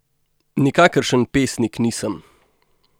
Nikakršen pesnik nisem.